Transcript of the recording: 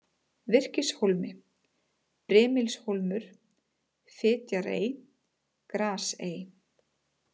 Virkishólmi, Brimilshólmur, Fitjarey, Grasey